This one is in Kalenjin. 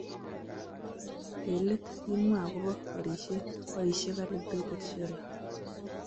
Eng let imwa akobo borishet ,boisie calibrated sheller